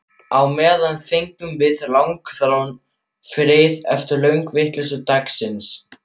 Á meðan fengum við langþráðan frið eftir lönguvitleysu dagsins.